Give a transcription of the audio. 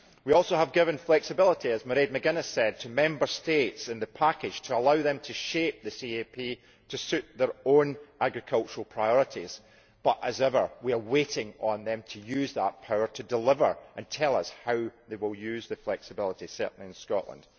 We have also given flexibility, as Mrs McGuiness said, to Member States in the package to allow them to shape the CAP to suit their own agricultural priorities but as ever, we are waiting for them to use that power to deliver and tell us how they will use that flexibility, certainly in Scotland.